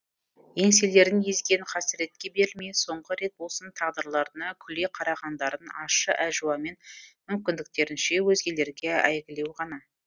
еңселерін езген қасіретке берілмей соңғы рет болсын тағдырларына күле қарағандарын ащы әжуамен мүмкіндіктерінше өзгелерге әйгілеу ғана